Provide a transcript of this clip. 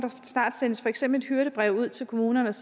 snart sendes for eksempel et hyrdebrev ud til kommunerne